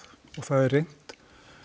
og það er reynt